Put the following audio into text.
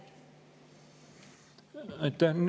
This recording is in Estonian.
Aitäh!